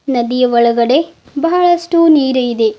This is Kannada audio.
ನದಿಯ ಒಳಗಡೆ ಬಹಳಷ್ಟು ನೀರು ಇದೆ.